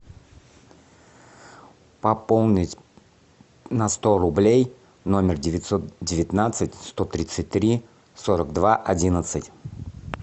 пополнить на сто рублей номер девятьсот девятнадцать сто тридцать три сорок два одиннадцать